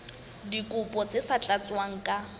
dikopo tse sa tlatswang ka